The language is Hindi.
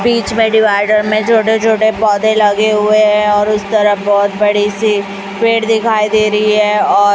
बीच में डिवाइडर में छोटे छोटे पौधे लगे हुए हैं और उस तरफ बहोत बड़ी सी पेड़ दिखाई दे रहीं हैं और--